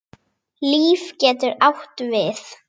Líf getur átt við